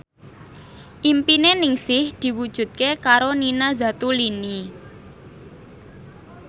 impine Ningsih diwujudke karo Nina Zatulini